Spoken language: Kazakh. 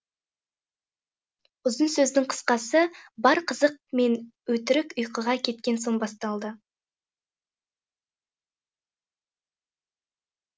ұзын сөздің қысқасы бар қызық мен өтірік ұйқыға кеткен соң басталды